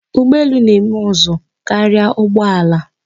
Ugbọelu na-eme ụzụ karia ụgbọala.